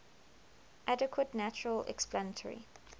adequate natural explanatory